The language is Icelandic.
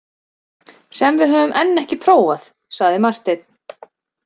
Sem við höfum enn ekki prófað, sagði Marteinn.